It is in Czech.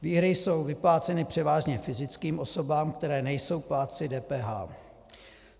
Výhry jsou vypláceny převážně fyzickým osobám, které nejsou plátci DPH.